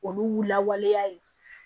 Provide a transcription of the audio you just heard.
Olu lawaleya ye